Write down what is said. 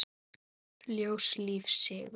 Ljós, líf, sigur.